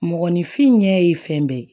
Mɔgɔninfin ɲɛ ye fɛn bɛɛ ye